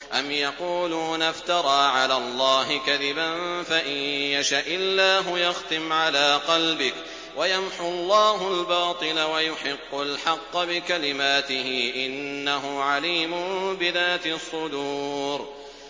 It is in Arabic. أَمْ يَقُولُونَ افْتَرَىٰ عَلَى اللَّهِ كَذِبًا ۖ فَإِن يَشَإِ اللَّهُ يَخْتِمْ عَلَىٰ قَلْبِكَ ۗ وَيَمْحُ اللَّهُ الْبَاطِلَ وَيُحِقُّ الْحَقَّ بِكَلِمَاتِهِ ۚ إِنَّهُ عَلِيمٌ بِذَاتِ الصُّدُورِ